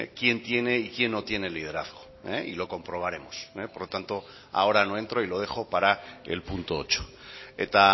quién tiene y quién no tiene el liderazgo y lo comprobaremos por lo tanto ahora no entro y lo dejo para el punto ocho eta